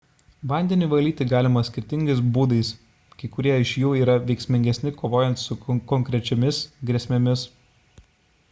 vandenį valyti galima skirtingais būdais kai kurie iš jų yra veiksmingesni kovojant su konkrečiomis grėsmėmis